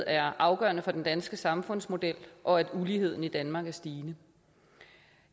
er afgørende for den danske samfundsmodel og at uligheden i danmark er stigende